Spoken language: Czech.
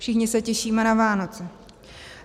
Všichni se těšíme na Vánoce.